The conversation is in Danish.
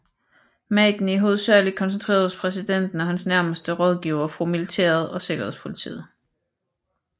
Magten er hovedsageligt koncentreret hos præsidenten og hans nærmeste rådgivere fra militæret og sikkerhedspolitiet